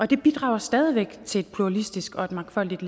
det bidrager stadig væk til et pluralistisk og mangfoldigt